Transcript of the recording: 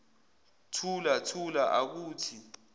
thula thula akuthi